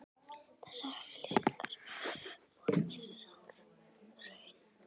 Þessar auglýsingar voru mér sár raun.